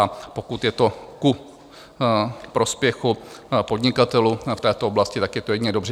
A pokud je to ku prospěchu podnikatelů v této oblasti, tak je to jedině dobře.